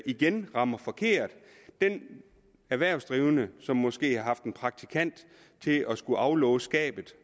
igen rammer forkert den erhvervsdrivende som måske har haft en praktikant til at skulle aflåse skabet